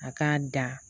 A k'a da